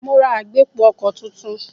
Mo ra agbépo-ọkọ̀ tuntun.